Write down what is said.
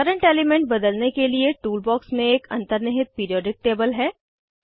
current element बदलने के लिए टूल बॉक्स में एक अंतनिर्हित पीरिऑडिक टेबल है